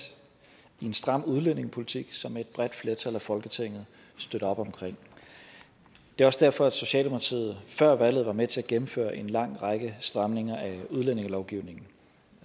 i en stram udlændingepolitik som et bredt flertal i folketinget støtter op om det er også derfor at socialdemokratiet før valget var med til at gennemføre en lang række stramninger af udlændingelovgivningen